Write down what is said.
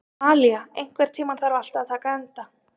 Malía, einhvern tímann þarf allt að taka enda.